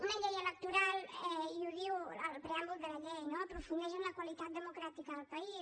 una llei electoral i ho diu el preàmbul de la llei no aprofundeix en la qualitat democràtica del país